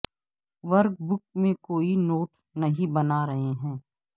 work book میں کوئی note نہیں بنا رہے ہیں